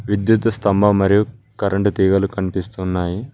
విద్యుత్తు స్తంభం మరియు కరెంటు తీగలు కనిపిస్తున్నాయి.